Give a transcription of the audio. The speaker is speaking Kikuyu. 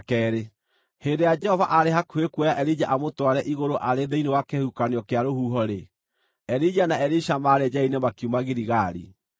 Hĩndĩ ĩrĩa Jehova aarĩ hakuhĩ kuoya Elija amũtware igũrũ arĩ thĩinĩ wa kĩhuhũkanio kĩa rũhuho-rĩ, Elija na Elisha maarĩ njĩra-inĩ makiuma Giligali.